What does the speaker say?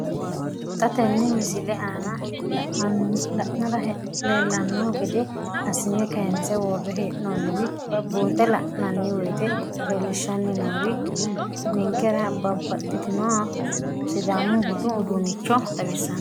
Xa tenne missile aana la'nara leellanno gede assine kayiinse worre hee'noonniri buunxe la'nanni woyiite leellishshanni noori ninkera babbaxxinnoha sidaamu budu uduunnicho xawissanno.